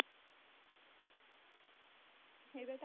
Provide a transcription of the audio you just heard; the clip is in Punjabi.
ਮੇਰੇ